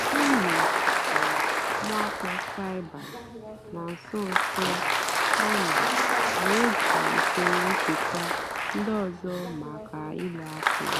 ọ́ nụ́rụ́ gbàsàrà mwákpó cybér nà nsó nsó á mà nà-èjì ùsòrò nchèkwà ndí ọ́zọ́ màkà ùlọ àkụ́.